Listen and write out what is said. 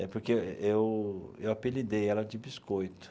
É porque eu eu apelidei ela de Biscoito.